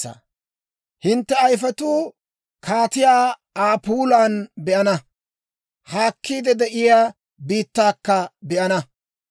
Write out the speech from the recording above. Hintte ayifetuu kaatiyaa Aa puulaana be'ana; haakkiide de'iyaa biittaakka be'ana.